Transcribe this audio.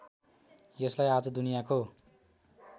यसलाई आज दुनियाँको